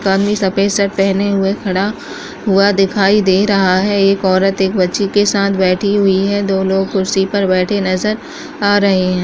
एक आदमी सफेद शर्ट पहने हुए खड़ा हुआ दिखाई दे रहा है एक औरत एक बच्ची के साथ बैठी हुई है दोनों कुर्सी पर बैठे नजर आ रहे हैं।